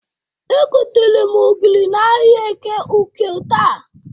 Egotere m ogiri n'ahịa Eke Uke taa.